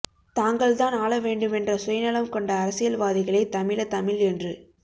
தாங்கள் தான் ஆள வேண்டுமென்ற சுயநலம் கொண்ட அரசியல் வாதிகளே தமிழ தமிழ் என்று